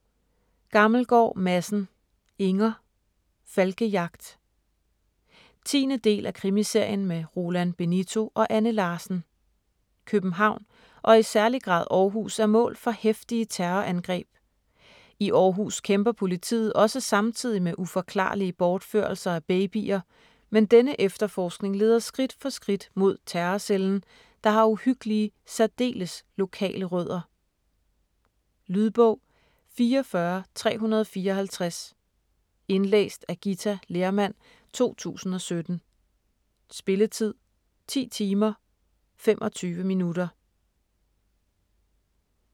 Gammelgaard Madsen, Inger: Falkejagt 10. del af Krimiserien med Roland Benito og Anne Larsen. København og i særlig grad Aarhus er mål for heftige terrorangreb. I Aarhus kæmper politiet også samtidig med uforklarlige bortførelser af babyer, men denne efterforskning leder skridt for skridt mod terrorcellen, der har uhyggelige, særdeles lokale rødder. Lydbog 44354 Indlæst af Githa Lehrmann, 2017. Spilletid: 10 timer, 25 minutter.